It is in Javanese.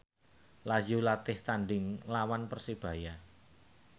Lazio latih tandhing nglawan Persebaya